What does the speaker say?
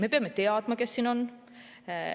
Me peame teadma, kes siin on.